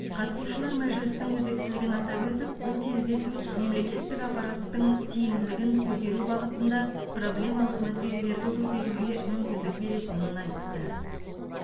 қатысушылар мәжілістің өзектілігін атап өтіп бұл кездесу мемлекеттік аппараттың тиімділігін көтеру бағытында проблемалық мәселелерді көтеруге мүмкіндік беретінін айтты